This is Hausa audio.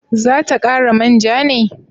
Za ta kara manja ne?